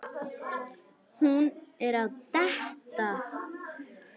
Hún er að detta.